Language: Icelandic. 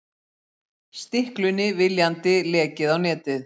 Stiklunni viljandi lekið á netið